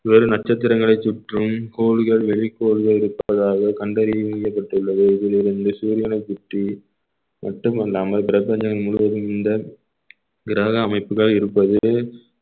வேறு நட்சத்திரங்களை சுற்றும் கோல்கள் வெளிக்கோல்கள் இருப்பதாக கண்டறியப்பட்டுள்ளது இதிலிருந்து சூரியனை சுற்றி மட்டுமல்லாமல் பிரபஞ்சம் முழுவதும் இந்த கிரக அமைப்புகள் இருப்பது